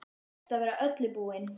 Best að vera við öllu búinn!